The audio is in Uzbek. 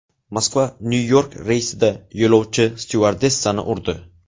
Moskva Nyu-York reysida yo‘lovchi styuardessani urdi.